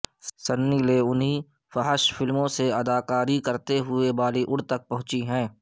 سنی لیونی فحش فلموں سے اداکاری کرتے ہوئے بالی وڈ تک پہنچی ہیں